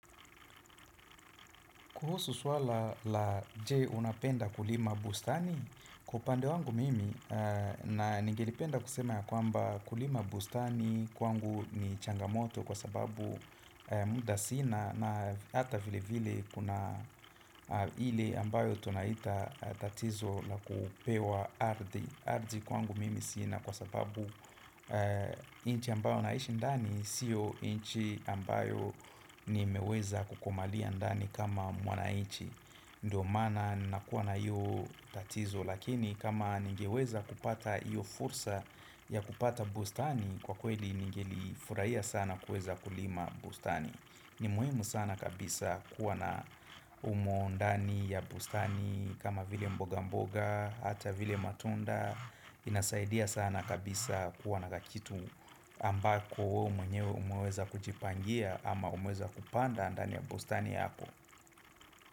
Kuhusu suala la je unapenda kulima bustani, kwa upande wangu mimi na ningelipenda kusema ya kwamba kulima bustani kwangu ni changamoto kwa sababu muda sina na hata vile vile kuna ili ambayo tunaita tatizo la kupewa ardhi. Ardhi kwangu mimi sina kwa sababu inchi ambayo naishi ndani sio inchi ambayo nimeweza kukumalia ndani kama mwananchi ndo mana nakuwa na hio tatizo lakini kama ningeweza kupata iyo fursa ya kupata bustani kwa kweli ningeli furahia sana kuweza kulima bustani ni muhimu sana kabisa kuwa na humo ndani ya bustani kama vile mboga mboga, ata vile matunda nasaidia sana kabisa kuwa na kakitu ambako we mwenyewe umeweza kujipangia ama umeweza kupanda ndani ya bustani yako.